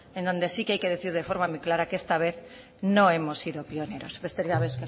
en donde sí que hay que decir de forma muy clara que esta vez no hemos sido pioneros besterik gabe